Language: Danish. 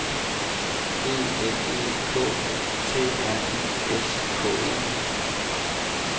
E L E K T R I S K E